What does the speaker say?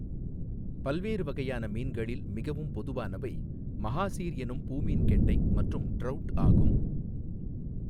பல்வேறு வகையான மீன்களில், மிகவும் பொதுவானவை மஹாசீர் எனும் பூமீன்கெண்டை மற்றும் ட்ரௌட் ஆகும்.